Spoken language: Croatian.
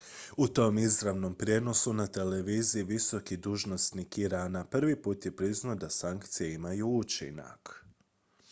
u tom izravnom prijenosu na televiziji visoki dužnosnik irana prvi put je priznao da sankcije imaju učinak